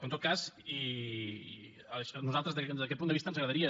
però en tot cas i a nosaltres des d’aquest punt de vista ens agradaria